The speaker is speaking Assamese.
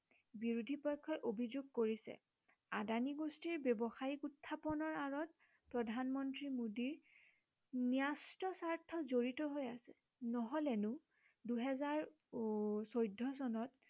বিৰোধী পক্ষই অভিযোগ কৰিছে আদানী গোষ্ঠীৰ ব্য়ৱসায়িক উত্থাপনৰ আঁৰত প্ৰধানমন্ত্ৰী মোডীৰ ন্য়স্ত স্বাৰ্থ জৰিত হৈ আছে নহলেনো দুহেজাৰ উম চৈধ্য় চনত